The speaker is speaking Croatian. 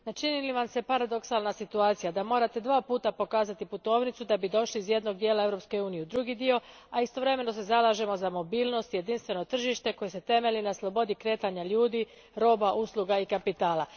Ne čini li vam se paradoksalnom situacija da morate dva puta pokazati putovnicu da biste došli iz jednog dijela Europske unije u drugi dio, a istovremeno se zalažemo za mobilnost i jedinstveno tržište koje se temelji na slobodi kretanja ljudi, robe, usluga i kapitala.